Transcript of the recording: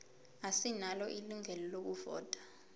asinalo ilungelo lokuvota